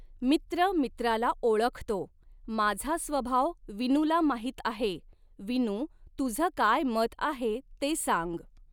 मित्र मित्राला ओळखतो, माझा स्वभाव विनूला माहीत आहे, विनू, तुझं काय मत आहे ते सांग.